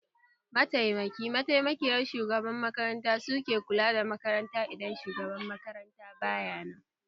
Mataimaki/mataimakiyar shugaban makaranta suke kula da makaranta idan shugaban makaranta baya nan